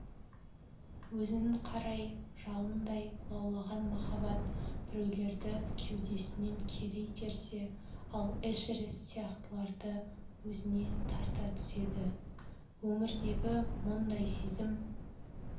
өзін қарай жалындай лаулаған махаббат біреулерді кеудесінен кері итерсе ал эшерест сияқтыларды өзіне тарта түседі өмірдегі мұндай сезім